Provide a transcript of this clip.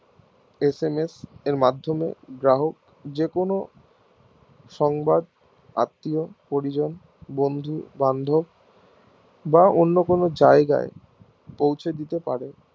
SMS এর মাধ্যমে গ্রাহক যেখানে সংবাদ আত্মীয় পরিজন বন্ধু বান্ধব বা অন্য কোনো জায়গায় পৌঁছে দিতে পারে